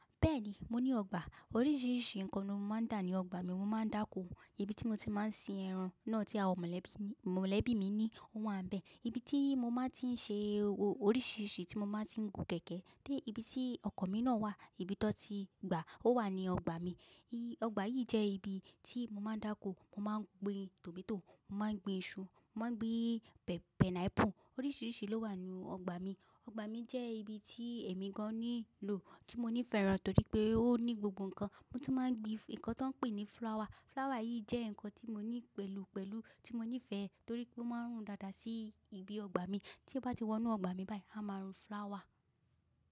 Bẹ́ẹ̀ni, mo ní ọgbà. Oríṣiríṣi nǹkan ni mó máa ń dà ní ọgbà mi. Mo máa ń dáko, ibi tí mo ti máa ń sin ẹran náà tí àwọn mọ̀lẹ́bí mi ní, ó wà bẹ́ẹ̀. Ibi tí mo máa ti ń ṣe oríṣiríṣi tí mo máa ti ń gùn kẹ̀kẹ́ dé ibi tí ọkọ̀ mi náà wà, ibi tan ti gbà o wà ní ọgbà mi. Ọgbà yìí jẹ́ ibi tí mo máa ń dáko, mo máa ń gbin tòmátò, mo máa ń gbin iṣu, mo máa ń gbin pẹnápù. Oríṣiríṣi ló wà ní ọgbà mi. Ọgbà mi jẹ́ ibi tí èmi gan-an níwulò tí mo ní fẹ́ràn torí pé ó ní gbogbo nǹkan. Mo tún máa ń gbin nǹkan tí wọ́n pè ní flower. Flower yìí jẹ́ nǹkan tí mo ní pẹ̀lú pẹ̀lú tí mo nífẹ̀ẹ́ torí pé ó máa ń rùn dáadáa sí ibi ọgbà mi. Tí n bá ti wọ inú ọgbà mi báyìí, á máa rùn flower.